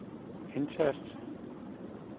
indtast